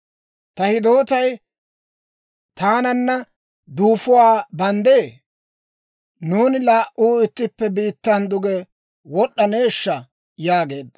Ta hidootay taananna duufuwaa banddee? Nuuni laa"uu ittippe biittan duge wod'd'aneeshsha?» yaageedda.